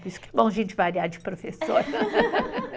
Por isso que é bom a gente variar de professora.